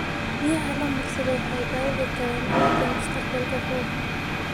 Biyaha la marsado waxay dhaawici karaan ciidda mustaqbalka fog.